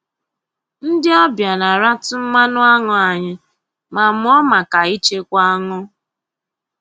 Ndị ọbịa na-aratụ mmanụ aṅụ anyị ma mụọ maka ichekwa aṅụ